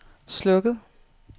slukket